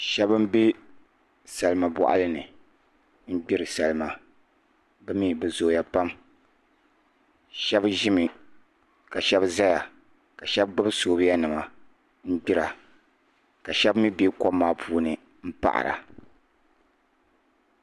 shaba m-be salima bɔɣili ni n-gbiri salima bɛ mi bɛ zooya pam shaba ʒimi ka shaba zaya ka shaba gbibi soobuya n-gbira ka shaba mi be kom maa puuni m-paɣira